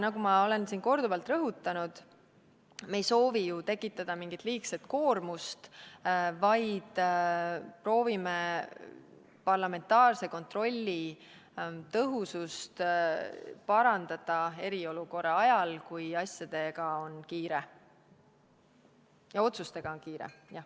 Nagu ma olen siin korduvalt rõhutanud, me ei soovi ju tekitada mingit liigset koormust, vaid proovime parandada parlamentaarse kontrolli tõhusust eriolukorra ajal, kui asjade ja otsustega on kiire.